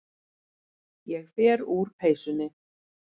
Ég fer úr peysunni.